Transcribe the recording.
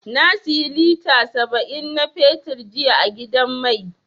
Na siyi lita saba'in na fetur jiya a gidan mai.